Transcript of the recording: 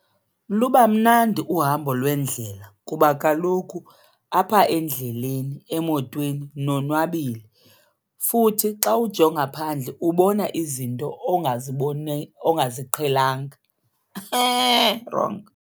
Luba mnandi uhambo lwendlela kuba kaloku apha endleleni emotweni nonwabile futhi xa ujonga phandle ubona izinto ongaziqhelanga, .